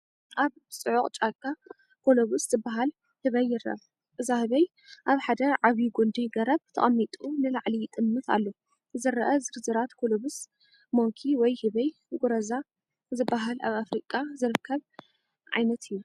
ኣብ ጽዑቕ ጫካ ኮሎቡስ ዝበሃል ኣህባይ ይርአ። እዛ ህባይ ኣብ ሓደ ዓቢ ጕንዲ ገረብ ተቐሚጡ ንላዕሊ ይጥምት ኣሎ። ዝረአ ዝርዝራት ኮሎቡስ ሞንኪ/ህበይ ጉረዛ ዝበሃል ኣብ ኣፍሪቃ ዝርከብ ዓይነት እዩ።